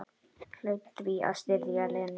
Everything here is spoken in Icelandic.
Hlaut því að styðja Lenu.